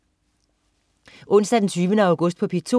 Onsdag den 20. august - P2: